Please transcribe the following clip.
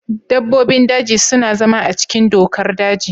Dabbobin daji suna zama a cikin dokar daji.